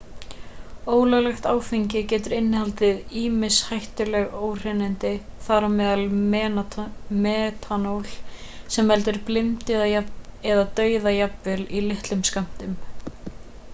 ólöglegt áfengi getur innihaldið ýmis hættuleg óhreinindi þar á meðal metanól sem veldur blindu eða dauða jafnvel í litlum skömmtum